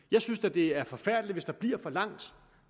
jeg synes da det er forfærdeligt hvis der bliver for langt